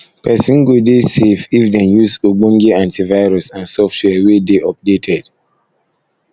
perosn go dey perosn go dey safe if dem use ogbonge antivirus and software wey dey updated